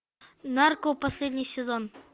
нарко последний сезон